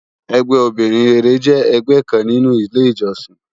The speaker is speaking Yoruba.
Ègbè óbirin réré jè ègbè kán ninú ilé ijòsín